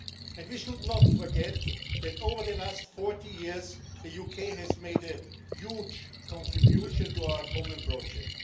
And we should not forget that over the last 40 years the UK has made a huge contribution to our common project.